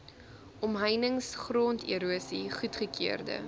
omheinings gronderosie goedgekeurde